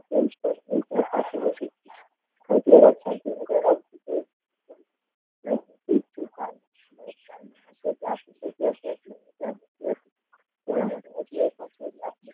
તેના માટે હજુ એક વર્ષ